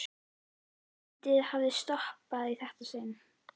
Og andlitið hafði sloppið í þetta sinn.